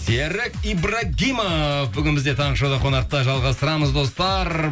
серік ибрагимов бүгін бізде таңғы шоуда қонақта жалғастырамыз достар